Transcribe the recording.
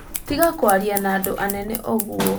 Tiga kwaria na andũ anene ũguo